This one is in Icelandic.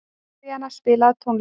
Maríanna, spilaðu tónlist.